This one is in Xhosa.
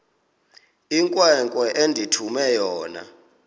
inkwenkwe endithume yona